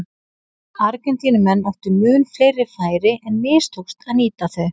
Argentínumenn áttu mun fleiri færi en mistókst að nýta þau.